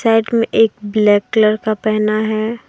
Right मे एक black colour का पहना है।